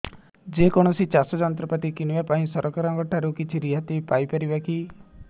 ଯେ କୌଣସି ଚାଷ ଯନ୍ତ୍ରପାତି କିଣିବା ପାଇଁ ସରକାରଙ୍କ ଠାରୁ କିଛି ରିହାତି ପାଇ ପାରିବା କି